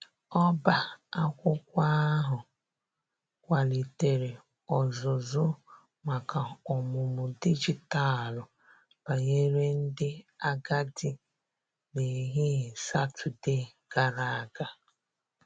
ọba akwụkwo ahu kwalitere ozuzu maka ọmụmụ dịjịtalụ banyere ndi agadi n'ehihie satọde gara aga.